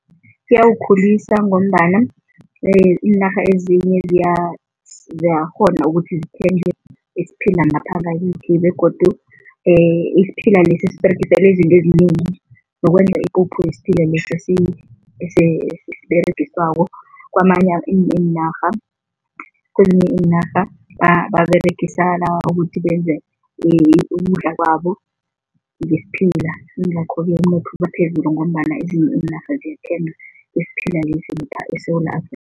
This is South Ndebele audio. Ziyawukhulisa ngombana iinarha ezinye ziyakghona ukuthi zithenge isiphila ngapha ngakithi begodu isiphila lesi siberegiselwa izinto ezinengi zokwenza ipuphu yesiphila lesa esiberegiswako kwamanye iinarha. Kwezinye iinarha baberegisa ukuthi benze ukudla kwabo ngesiphila yingakho-ke umnotho ubaphezulu ngombana ezinye iinarha ziyathenga isiphila lesi eSewula Afrika.